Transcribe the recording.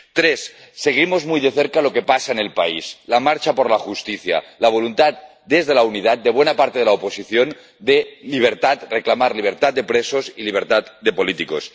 tres seguimos muy de cerca lo que pasa en el país la marcha por la justicia, la voluntad, desde la unidad, de buena parte de la oposición de libertad, de reclamar libertad de presos y libertad de políticos